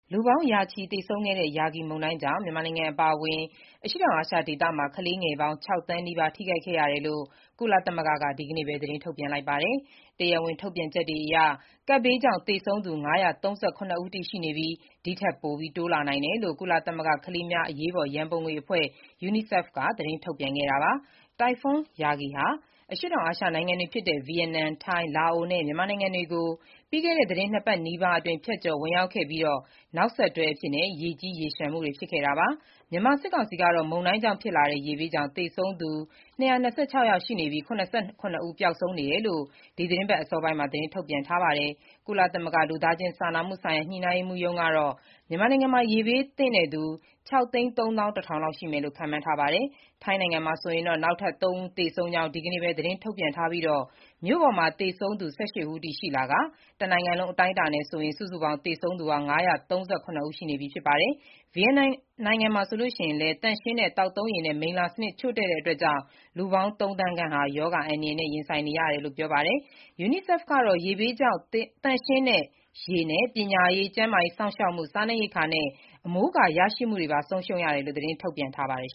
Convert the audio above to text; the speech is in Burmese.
လူပေါင်းရာချီ သေဆုံးခဲ့တဲ့ Yagi မုန်တိုင်းကြောင့် မြန်မာနိုင်ငံ အပါအဝင် အရှေ့တောင်အာရှ ဒေသမှာ ကလေးငယ်ပေါင်း ၆ သန်းနီးပါးထိခိုက်ခဲ့ရတယ်လို့ ကုလသမဂ္ဂ က ဒီနေ့ပဲ သတင်းထုတ်ပြန်ခဲ့ပါတယ်။ တရားဝင် ထုတ်ပြန်ချက်တွေအရ ကပ်ဘေးကြောင့် သေဆုံးသူ ၅၃၇ ဦးအထိ ရှိနေပြီး၊ ဒီထက်ပိုတိုးလာနိုင်တယ်လို့လည်း ကုလသမဂ္ဂ ကလေးများအရေးပေါ် ရန်ပုံငွေအဖွဲ့ UNICEF ကသတင်းထုတ်ပြန်ခဲ့တာပါ။ တိုင်ဖွန်း Yagi ဟာ အရှေ့တောင်အာရှ နိုင်ငံတွေဖြစ်တဲ့ ဗီယက်နမ်၊ ထိုင်း၊ လာအိုနဲ့ မြန်မာနိုင်ငံတွေကို ပြီးခဲ့တဲ့ သီတင်းနှစ်ပတ်နီးပါးအတွင်း ဖြတ်ကျော်ဝင်ရောက်ခဲ့ပြီး၊ နောက်ဆက်တွဲ ရေကြီး၊ ရေလျှံမှုတွေ ဖြစ်ခဲ့တာပါ။ မြန်မာ စစ်ကောင်စီကတော့ မုန်တိုင်းကြောင့်ဖြစ်လာတဲ့ ရေဘေးကြောင့် သေဆုံးသူ ၂၂၆ ယောက်ရှိနေပြီး ၇၇ ဦးပျောက်ဆုံးနေတယ်လို့ ဒီသီတင်းပတ် အစောပိုင်းမှာ သတင်းထုတ်ပြန်ထားပါတယ်။ ကုလသမဂ္ဂ လူသားချင်းစာနာမှုဆိုင်ရာ ညှိနှိုင်းရေးမှူးရုံး (UNOCHA) ကတော့ မြန်မာနိုင်ငံမှာ ရေဘေးဒဏ်သင့်သူ ၆၃၁,၀၀၀ လောက်ရှိမယ်လို့ ခန့်မှန်းထားကြောင်းပြောထားပါတယ်။ ထိုင်းနိုင်ငံမှာတော့ နောက်ထပ် ၃ ဦးသေဆုံးကြောင်း ဒီနေ့ပဲ သတင်းထုတ်ပြန်ထားပြီး၊ မြို့ပေါ်မှာ သေဆုံးသူ ၁၈ ဦးထိရှိလာကာ၊ တနိုင်ငံလုံးအတိုင်းအတာနဲ့ စုစုပေါင်း သေဆုံးသူ ၅၃၇ ဦး ရှိနေပြီဖြစ်ပါတယ်။ ဗီယက်နမ်မှာဆိုရင်လည်း သန့်ရှင်းတဲ့ သောက်သုံးရေနဲ့ မိလ္လာစနစ် ချို့တဲ့မှုကြောင့် လူပေါင်း သုံးသန်းခန့်ဟာ ရောဂါအန္တရာယ်နဲ့ ရင်ဆိုင်နေရတယ်လို့ ပြောပါတယ်။ UNICEF ကတော့ ရေဘေးကြောင့် သန့်ရှင်းတဲ့ရေ၊ ပညာရေး၊ ကျန်းမာရေးစောင့်ရှောက်မှု၊ စားနပ်ရိက္ခာနဲ့ အမိုးအကာရရှိမှုတွေပါ ဆုံးရှုံးခဲ့ရတယ်လို့ သတင်းထုတ်ပြန်ထားပါတယ်